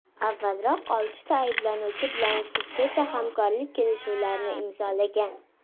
Avvalroq oltita ayblanuvchi bilan sudgacha hamkorlik kelishuvlarni imzolangan.